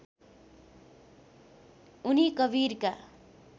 उनी कवीरका